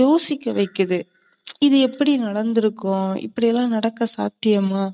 யோசிக்க வைக்கிது. இது எப்படி நடந்துருக்கும்? இப்படியெல்லாம் நடக்க சாத்தியமோ,